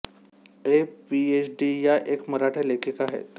ए PhD या एक मराठी लेखिका आहेत